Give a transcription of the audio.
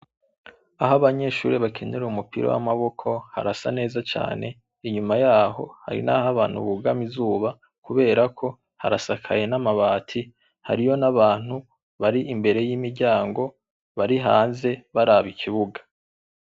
Aho abanyeshure bakinira umupira w'amaboko harasa neza cane, inyuma yaho hari n'aho abantu bugama izuba kubera ko harasakaye n'amabati hariyo n'abantu bari imbere y'imiryango bari hanze baraba ikibuga.